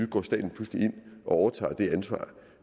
går staten pludselig ind og overtager det ansvar